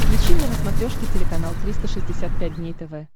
включи мне на смотрешке телеканал триста шестьдесят пять дней тв